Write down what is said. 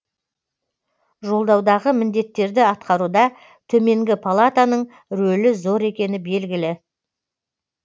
жолдаудағы міндеттерді атқаруда төменгі палатаның рөлі зор екені белгілі